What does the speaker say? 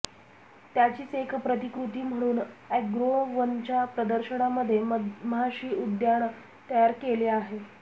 त्याचीच एक प्रतिकृती म्हणून अॅग्रोवनच्या प्रदशर्नामध्ये मधमाशी उद्यान तयार केले आहे